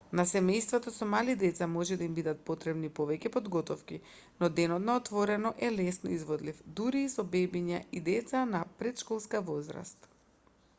на семејствата со мали деца може да им бидат потребни повеќе подготовки но денот на отворено е лесно изводлив дури и со бебиња и деца на претшколска возраст